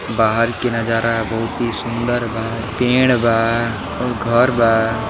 बाहर के नजारा बहुत ही सुन्दर बा। पेड़ बा और घर बा।